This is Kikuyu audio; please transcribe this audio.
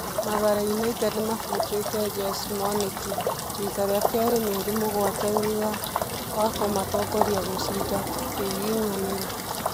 Mathare United nĩmabutĩte Jose Mwaniki rita rĩa kerĩ mĩeri mũgwanja thutha ya kũmatongoria gũcinda kĩgiginyanĩro.